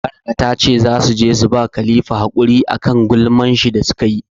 Baraka ta ce za su je su ba Khalifa hakuri a kan gulman shi da su ka yi.